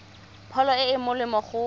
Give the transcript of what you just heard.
pholo e e molemo go